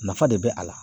Nafa de bɛ a la